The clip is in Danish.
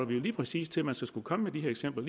vi jo lige præcis til at man skulle komme med eksempler